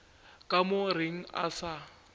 ka o reng a sa